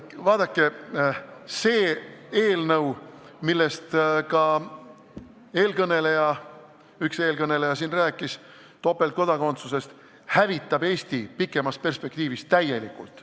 Vaadake, see eelnõu, millest ka üks eelkõneleja siin rääkis – topeltkodakondsuse kohta –, hävitab Eesti pikemas perspektiivis täielikult.